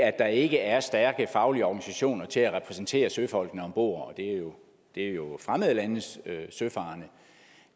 at der ikke er stærke faglige organisationer til at repræsentere søfolkene om bord og det er jo fremmede landes søfarende